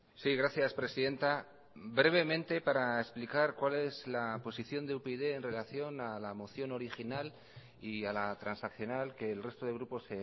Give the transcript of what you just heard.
sí gracias presidenta brevemente para explicar cuál es la posición de upyd en relación a la moción original y a la transaccional que el resto de grupos